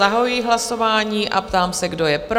Zahajuji hlasování a ptám se, kdo je pro?